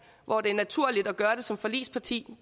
hvor det er naturligt at gøre det som forligsparti